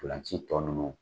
Ntolan ci tɔ nunnu